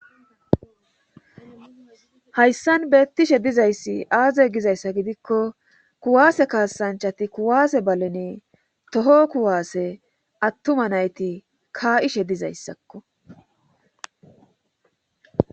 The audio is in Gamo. hayssan beettishe dizayssi aaze gizayssa gidikko kuwaase kaasanchati kuwaase baleni toho kuwaase attuma nayti kaa7ishe dizayssakko.